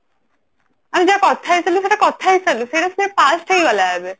ଆମେ ଯାହା କଥା ହେଇ ସାରିଲୁ ସେଇଟା କଥା ହେଇ ସାରିଲୁ ସେଇଟା ସେ past ହେଇଗଲା ଏବେ